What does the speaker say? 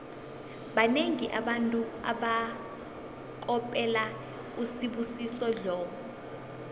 banengi abantu abakopela usibusiso dlomo